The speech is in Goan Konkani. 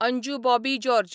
अंजू बॉबी जॉर्ज